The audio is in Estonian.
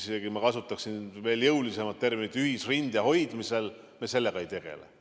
isegi ma kasutaksin jõulisemat terminit, ühisrinde hoidmisega ei tegele.